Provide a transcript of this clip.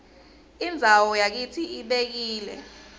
indzawo yakitsi ibekile